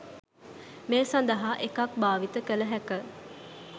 මේ සඳහා එකක් භාවිත කළ හැක.